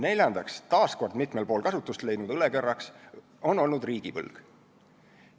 Neljas taas mitmel pool kasutust leidnud õlekõrs on olnud riigivõlg.